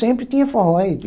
Sempre tinha forró.